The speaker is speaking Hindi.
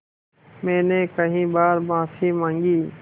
मैंने कई बार माफ़ी माँगी